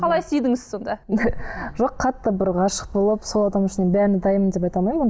қалай сүйдіңіз сонда жоқ қатты бір ғашық болып сол адам үшін бәріне дайынмын деп айта алаймын